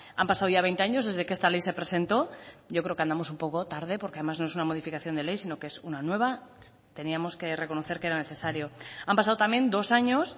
han pasado ya veinte años desde que esta ley se presentó yo creo que andamos un poco tarde porque además no es una modificación de ley sino que es una nueva teníamos que reconocer que era necesario han pasado también dos años